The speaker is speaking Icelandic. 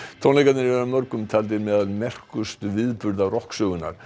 tónleikarnir eru af mörgum taldir meðal merkilegustu viðburða rokksögunnar